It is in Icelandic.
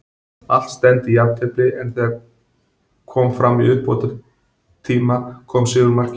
Allt stefndi í jafntefli, en þegar kom var fram í uppbótartíma kom sigurmarkið.